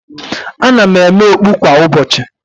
Ana m eme okpu kwa ụbọchị